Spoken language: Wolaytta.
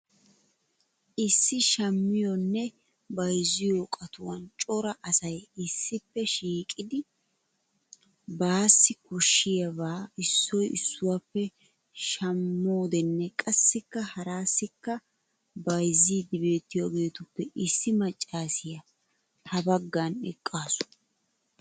Issi shammiyonne bayzziyo qatuwan cora asay issippe shiiiqidi baassi koshshiyaaba issoy issuwappe shammodinne qassikka harassikka bayzzidi beettiyaageetuppe issi maccassiya ha baggan eqqaasu.